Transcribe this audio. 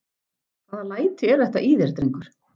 Hvaða hvaða læti eru þetta í þér, drengur?